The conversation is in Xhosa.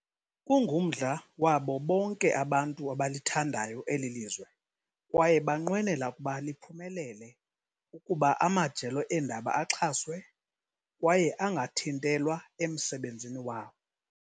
Kungumdla wabo bonke abantu abalithandayo eli lizwe kwaye banqwenela ukuba liphumelele ukuba amajelo eendaba axhaswe, kwaye angathintelwa emsebenzini wawo.